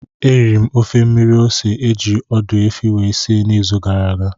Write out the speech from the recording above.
Eriri m ofe mmiri ose eji ọdụ efi wee si n'izu gara aga